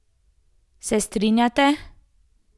Se strinjate?